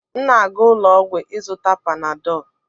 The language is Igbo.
m na-aga ụlọ ọgwụ ịzụta Panadọ